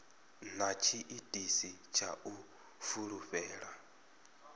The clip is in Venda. na tshiitisi tsha u fulufhela